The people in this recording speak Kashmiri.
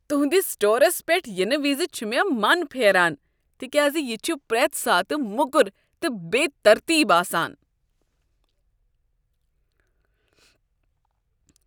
تہنٛدس سٹورس پیٹھ ینہٕ وز چھُ مےٚ من پھیران تکیاز یہ چھُ پرٛٮ۪تھ ساتہٕ موٚکر تہٕ بے ترتیب آسان۔